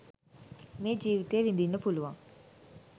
මේ ජීවිතය විඳින්න පුළුවන්.